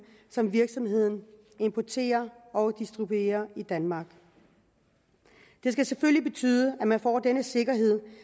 som virksomheden importerer og distribuerer i danmark det skal selvfølgelig betyde at man får denne sikkerhed